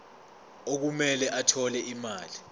okumele athole imali